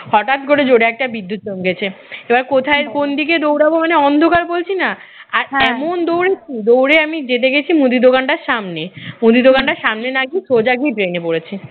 হঠাৎ করে জোরে একটা বিদ্যুৎ চমকেছে এবার কোথায় কোন দিকে দৌড়াব মানে অন্ধকার বলছি না আর এমন দৌড়েছি, দৌড়ে আমি যেতে গেছি মুদি দোকানটার সামনে মুদি দোকানটার সামনে না গিয়ে সোজা গিয়ে drain পড়েছি